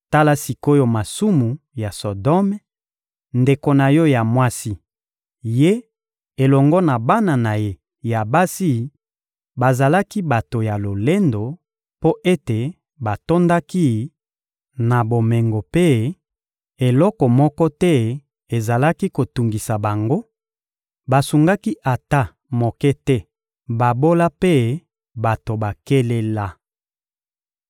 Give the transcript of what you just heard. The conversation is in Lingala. Tala sik’oyo masumu ya Sodome, ndeko na yo ya mwasi: ye elongo na bana na ye ya basi bazalaki bato ya lolendo, mpo ete batondaki na bomengo mpe eloko moko te ezalaki kotungisa bango; basungaki ata moke te babola mpe bato bakelela.